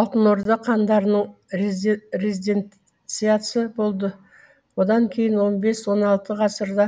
алтын орда хандарының резиденциясы болды одан кейін он бес он алты ғасырларда